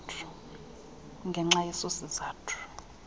kungenxa yeso sizathu